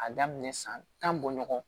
A daminɛ san tan bɔ ɲɔgɔn